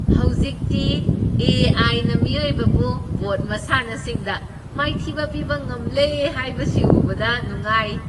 ꯍꯧꯖꯤꯛꯇꯤ ꯑꯦ.ꯑꯩꯏ ꯅ ꯃꯤꯑꯣꯏꯕꯕꯨ ꯕꯣꯔ꯭ꯗ ꯃꯁꯥꯟꯅꯁꯤꯡꯗ ꯃꯥꯏꯊꯤꯕ ꯄꯤꯕ ꯉꯝꯂꯦ ꯍꯥꯏꯕꯁꯤ ꯎꯕꯗ ꯅꯨꯉꯥꯏ꯫